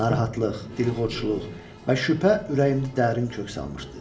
Narahatlıq, dilxorçuluq və şübhə ürəyimdə dərin kök salmışdı.